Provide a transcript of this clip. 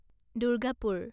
Durgapur